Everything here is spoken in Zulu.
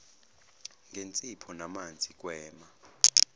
ngensipho namanzi gwema